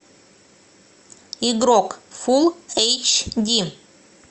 игрок фул эйч ди